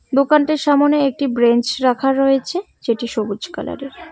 দোকানটির সামোনে একটি ব্রেঞ্চ রাখা রয়েছে যেটি সবুজ কালার -এর।